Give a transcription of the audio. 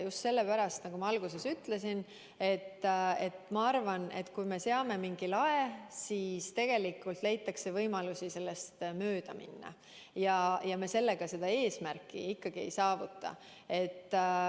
Just sellepärast, nagu ma alguses ütlesin, et kui me seame mingi lae, siis tegelikult leitakse võimalusi sellest mööda minna ja me seda eesmärki ei saavuta.